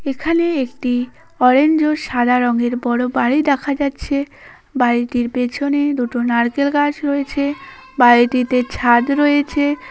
এখানে একটি অরেঞ্জ ও সাদা রং এর বড়ো বাড়ি দেখা যাচ্ছে বাড়িটির পেছনে দুটো নারকেল গাছ রয়েছে বাড়িটিতে ছাদ রয়েছে।